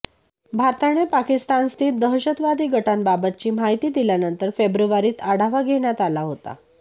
भारताने पाकिस्तानस्थित दहशतवादी गटांबाबतची माहिती दिल्यानंतर फेब्रुवारीत आढावा घेण्यात आला होता